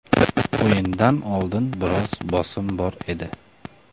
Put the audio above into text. O‘yindan oldin biroz bosim bor edi.